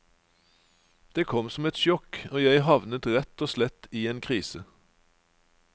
Det kom som et sjokk, og jeg havnet rett og slett i en krise.